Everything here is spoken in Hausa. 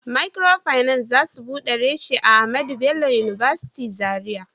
Microfinance za su bude reshi a Ahmadu Bello University zarai